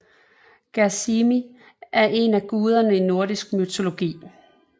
Gersimi er en af guderne i nordisk mytologi